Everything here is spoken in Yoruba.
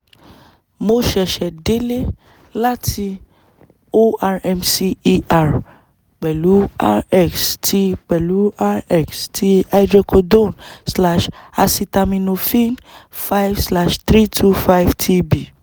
mo ṣẹ̀ṣẹ̀ délé láti O-R-M-C er pẹ̀lú R-X ti pẹ̀lú R-X ti hydrocodone slash acetaminophen five slash three two five T-B